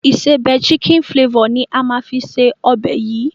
Ìsebẹ́ "chicken flavour" ni á máa fi ṣe ọbẹ̀ yìí.